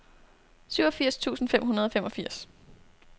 syvogfirs tusind fem hundrede og femogfirs